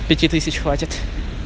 пяти тысяч хватит